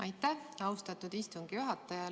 Aitäh, austatud istungi juhataja!